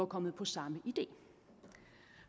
kommet på samme idé